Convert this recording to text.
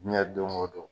Diɲɛ don o don